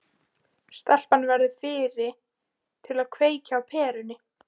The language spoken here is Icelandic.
Stelpan verður fyrri til að kveikja á perunni.